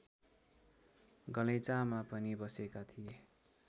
गलैँचामा पनि बसेका थिए